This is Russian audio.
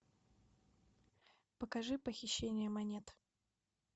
покажи похищение монет